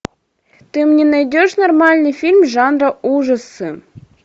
ты мне найдешь нормальный фильм жанра ужасы